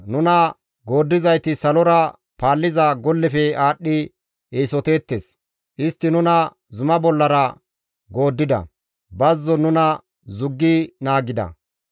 Nuna gooddizayti salora paalliza gollefe aadhdhi eesoteettes; istti nuna zuma bollara gooddida; bazzon nuna zuggi naagida.